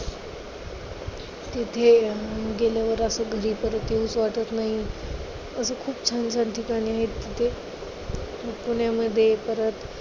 तिथे अं गेल्यावर असं घरी परत येउच वाटत नाही. असं खूप छान ठिकाणे आहेत तिथे. पुण्यामध्ये इतर